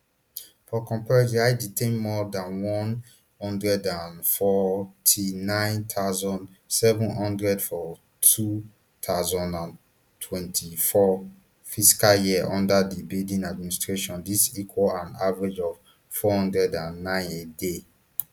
for comparison ice detain more dan one hundred and forty-nine thousand, seven hundred for two thousand and twenty-four fiscal year under di biden administration dis equal an average of four hundred and nine a day